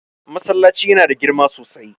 Masallacin yana da girma sosai.